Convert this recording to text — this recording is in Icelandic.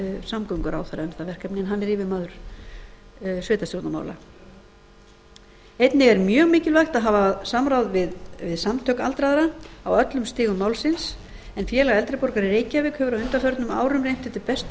samgönguráðherra um það verkefni en hann er yfirmaður sveitarstjórnarmála einnig er mjög mikilvægt að hafa samráð við samtök aldraðra á öllum stigum málsins félag eldri borgara í reykjavík hefur á undanförnum árum reynt eftir bestu